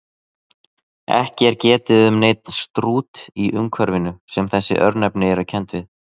Ekki er getið um neinn Strút í umhverfinu sem þessi örnefni eru kennd við.